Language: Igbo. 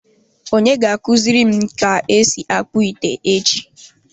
Onye ga akuziri m ka esi akpu ite echi?